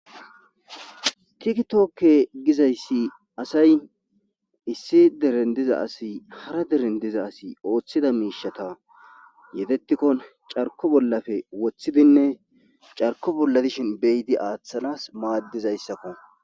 tikitokke gizayssi asay issi deren diza asi hara deren diza asi ooththida miishata yetetikkon carko bollafe woththidinne carko bolla dishin beyidi aaththanas maaddizayssakko